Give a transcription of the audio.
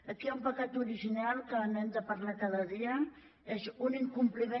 aquí hi ha un pecat original que n’hem de parlar cada dia és un incompliment